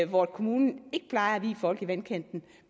hvor kommunen ikke plejer at vie folk i vandkanten